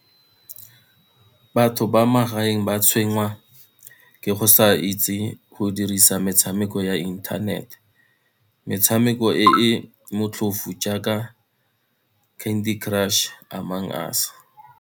Batho ba magaeng ba tshwenngwa ke go sa itse go dirisa metshameko ya internet, metshameko e e motlhofu jaaka Candy Crush, Among Us.